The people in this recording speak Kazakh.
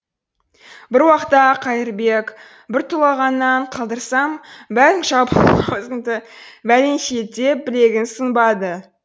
бір уақта қайырбек бір тулағаннан қалдырсам бәрің жабылып аузымды бәленше ет деп білегін сыбанды